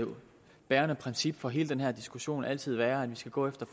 bærende princip for hele den her diskussion altid være at vi skal gå efter